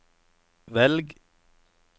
velg